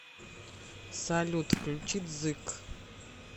салют включи дзык